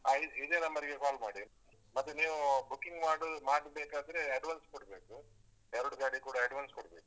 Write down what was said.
ಹಾ ಇದ್~ ಇದೇ ನಂಬರಿಗೆ ಕಾಲ್ ಮಾಡಿ. ಮತ್ತೆ ನೀವು booking ಮಾಡು ಮಾಡ್ಬೇಕಾದ್ರೆ advance ಕೊಡ್ಬೇಕು. ಎರಡು ಗಾಡಿ ಕೂಡ advance ಕೊಡ್ಬೇಕು.